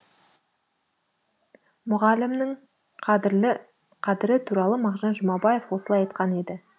мұғалімнің қадірі туралы мағжан жұмабаев осылай айтқан еді